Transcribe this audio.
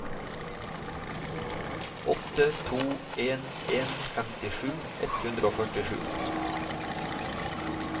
åtte to en en femtisju ett hundre og førtisju